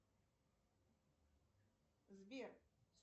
сбер